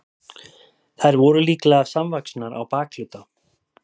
þær voru líklega samvaxnar á bakhluta